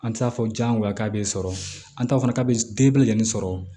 An t'a fɔ jango a k'a bɛ sɔrɔ an ta fana k'a bɛ den bɛɛ lajɛlen sɔrɔ